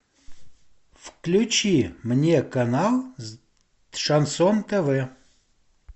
включи мне канал шансон тв